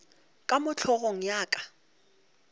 ka mo hlogong ya ka